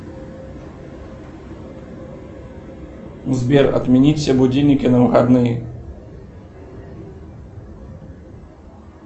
сбер отменить все будильники на выходные